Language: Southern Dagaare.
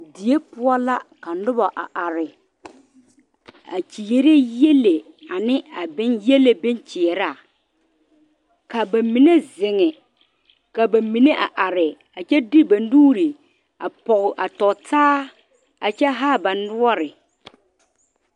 Die poɔ la ka nobo a are a kyere yɛlle ane a boŋ yɛlle boŋ kyɛraa ka ba mine zeŋ ka ba mine a are kyɛ de ba nuure a poɔ a tɔtaa kyɛ zaa ba noɔre.